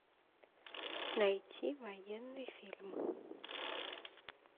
найти военный фильм